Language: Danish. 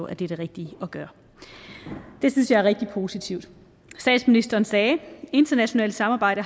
at det er det rigtige at gøre det synes jeg er rigtig positivt statsministeren sagde at internationalt samarbejde